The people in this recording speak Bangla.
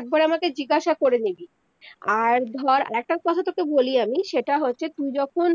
একবার আমাকে জিজ্ঞাসা করে নিবি আর ধর একটা কথা তকে বলি আমি সেটা হয়েছে তুই যখন